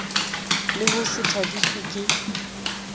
le ho se thabiswe ke